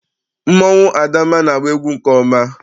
Mmọnwụ adamma na-agba egwu nke ọma.